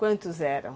Quantos eram?